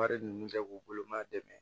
Wari ninnu kɛ k'u bolo maa dɛmɛ